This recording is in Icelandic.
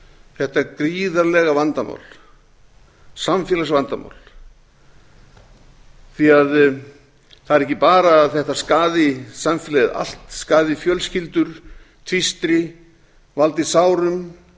þetta gríðarlega vandamál samfélagsvandamál því það er ekki bara að þetta skaði samfélagið allt skaði fjölskyldur tvístrar valdi sárum